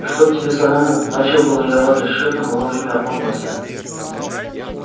чтоб тебе самому начал было я в адрес шефа но вовремя опомнился